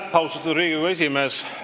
Aitäh, austatud Riigikogu esimees!